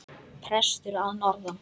Prestur að norðan!